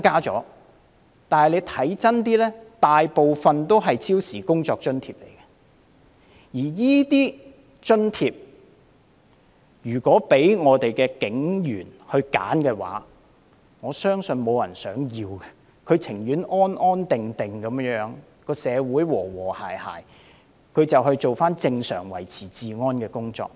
但是，有一點是要看清楚的，當中大部分是超時工作津貼，如果警員可以選擇，我相信沒有人想得到這津貼，他們寧願社會安定和諧，可以回復正常的維持治安工作。